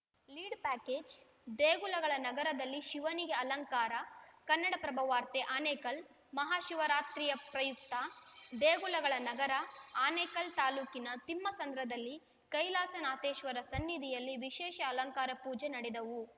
lead package ದೇಗುಲಗಳ ನಗರದಲ್ಲಿ ಶಿವನಿಗೆ ಅಲಂಕಾರ ಕನ್ನಡಪ್ರಭ ವಾರ್ತೆ ಆನೇಕಲ್‌ ಮಹಾಶಿವರಾತ್ರಿಯ ಪ್ರಯುಕ್ತ ದೇಗುಲಗಳ ನಗರ ಆನೇಕಲ್‌ ತಾಲೂಕಿನ ತಿಮ್ಮಸಂದ್ರದಲ್ಲಿ ಕೈಲಾಸನಾಥೇಶ್ವರ ಸನ್ನಿಧಿಯಲ್ಲಿ ವಿಶೇಷ ಅಲಂಕಾರ ಪೂಜೆ ನಡೆದವು